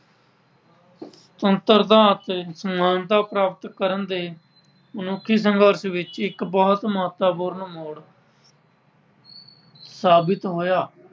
ਸੁਤੰਤਰਤਾ ਅਤੇ ਸਮਾਨਤਾ ਪ੍ਰਾਪਤ ਕਰਨ ਦੇ ਮਨੁੱਖੀ ਸੰਘਰਸ਼ ਵਿੱਚ ਇੱਕ ਬਹੁਤ ਮਹੱਤਵਪੂਰਨ ਮੋੜ ਸਾਬਿਤ ਹੋਇਆ।